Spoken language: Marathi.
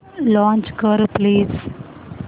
लॉंच कर प्लीज